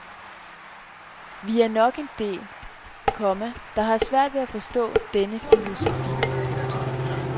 Vi er nok en del, komma der har svært ved at forstå denne filosofi. punktum